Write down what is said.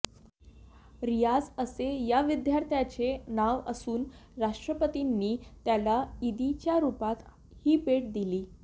रियाझ असे या विद्यार्थ्याचे नाव असून राष्ट्रपतींनी त्याला इदीच्या रुपात ही भेट दिली